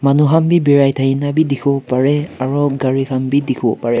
manu han bi birai thakinabi dikhiwo pareh aro gari khan bi dikhiwo pareh.